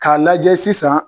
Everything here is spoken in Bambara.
K'a lajɛ sisan